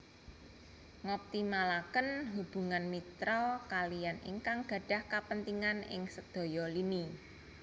Ngoptimalaken hubungan mitra kaliyan ingkang gadhah kapentingan ing sedaya lini